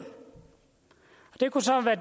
det kunne så være